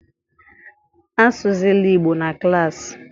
Asụzịla Igbo na klassị